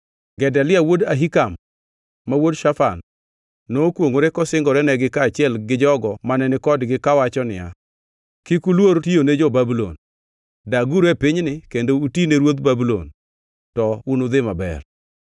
Gedalia wuod Ahikam, ma wuod Shafan, nokwongʼore kosingorenegi kaachiel gi jogo mane ni kodgi kawacho niya, “Kik uluor tiyone jo-Babulon. Daguru e pinyni kendo uti ne ruodh Babulon, to unudhi maber.